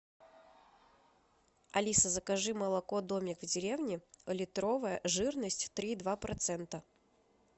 алиса закажи молоко домик в деревне литровая жирность три и два процента